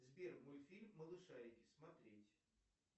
сбер мультфильм малышарики смотреть